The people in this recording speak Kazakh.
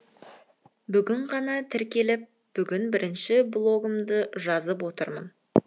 бүгін ғана тіркеліп бүгін бірінші блогымды жазып отырмын